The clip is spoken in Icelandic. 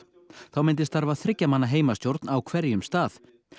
þá myndi starfa þriggja manna heimastjórn á hverjum stað